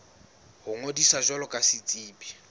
ho ngodisa jwalo ka setsebi